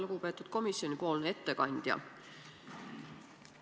Lugupeetud komisjoni ettekandja!